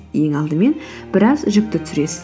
ең алдымен біраз жүкті түсіресіз